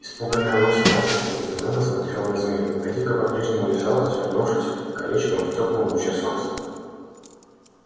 испуганная лосем настенька изумлённо смотрела на змею гадюка по-прежнему лежала свернувшись колечком в теплом луче солнца